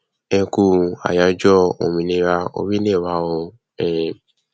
ẹkú ayájọ òmìnira orílẹ wa o um